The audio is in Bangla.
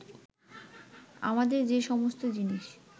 আমাদের যে সমস্ত জিনিস